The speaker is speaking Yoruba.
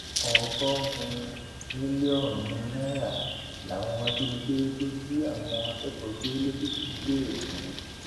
ọgọrùnún mílíọnù náírà làwọn ajìnigbe tó jí àwọn akẹkọọ gbé lẹkìtì ń béèrè fún